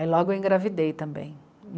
Aí logo eu engravidei também.